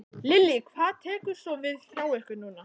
Lillý: Hvað tekur svo við hjá ykkur núna?